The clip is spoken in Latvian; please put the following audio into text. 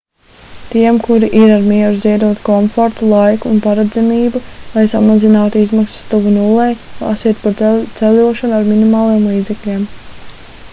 tiem kuri ir ar mieru ziedot komfortu laiku un paredzamību lai samazinātu izmaksas tuvu nullei lasiet par ceļošanu ar minimāliem līdzekļiem